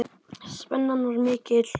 Spennan var mikil.